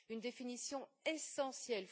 Une définition essentielle.